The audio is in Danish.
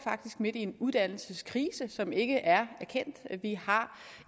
midt i en uddannelseskrise som ikke er erkendt vi har